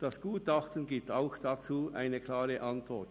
Das Gutachten gibt diesbezüglich eine klare Antwort.